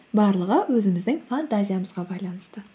барлығы өзіміздің фантазиямызға байланысты